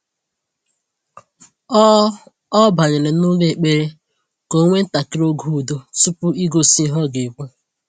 O O banyere n'ụlọ ekpere ka o nwee ntakịrị oge udo tupu igosi ihe ọ ga-ekwu.